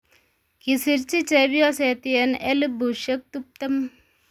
Kisirchi chepyoset yen elubushek tuptem